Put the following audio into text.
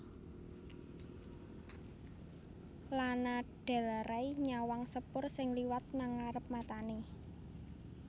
Lana Del Rey nyawang sepur sing liwat nang ngarep matane